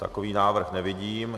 Takový návrh nevidím.